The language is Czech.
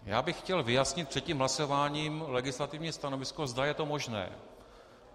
Já bych chtěl vyjasnit před tím hlasováním legislativní stanovisko, zda je to možné.